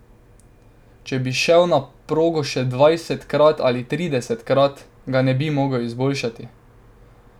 Če bi šel na progo še dvajsetkrat ali tridesetkrat, ga ne bi mogel izboljšati.